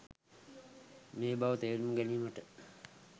මේ බව තේරුම් ගැනීමට